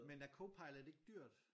Men er Copilot ikke dyrt?